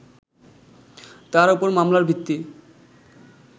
তার উপর মামলার ভিত্তি